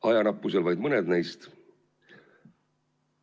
Ajanappusel vaid mõned neist.